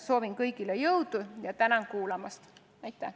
Soovin kõigile jõudu ja tänan kuulamast!